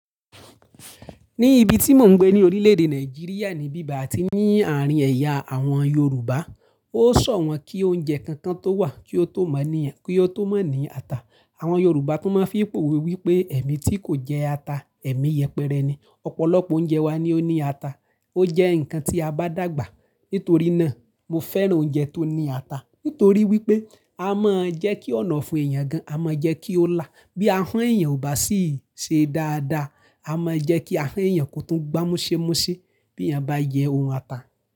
Ní ibi tí mò ń gbé ní orílè-èdè Nàìjíríà ní bíba àti ní àárín ẹ̀yà àwọn Yorùbá, ó sọ wọ́n kí oúnjẹ kankan tó wà kí ó tó mọ̀ ní, kí ó tó mọ̀ ní ata. Àwọn Yorùbá tún máa ń fipòwe wípé "ẹ̀mi tí kò jẹ ata, ẹ̀mi yẹpẹrẹ ni". Ọ̀pọ̀lọpọ̀ oúnjẹ wa ni ó ní ata, ó jẹ́ ǹkan tí a bá dàgbà. Nítorí náà, mo fẹ́ràn oúnjẹ tó ní ata. Nítorí wípé a máa ń jẹ́ kí ọ̀nàfun èèyàn gan, a máa ń jẹ́ kí ó lá. Bí ahọ́n èèyàn ò bá sì ṣe dáadáa, a máa ń jẹ́ kí ahọ́n èèyàn kò tún gbámúsémúṣé bí èèyàn bá yẹ òun ata.